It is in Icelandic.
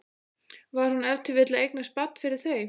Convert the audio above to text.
Var hún ef til vill að eignast barn fyrir þau?